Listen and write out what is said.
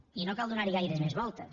i no cal donar hi gaires més voltes